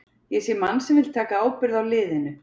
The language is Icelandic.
Ég sé mann sem vill taka ábyrgð á liðinu.